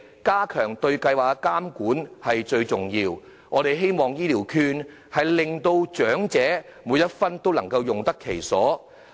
加強對計劃的監管是很重要的，我們希望長者能把醫療券每一分都用得其所。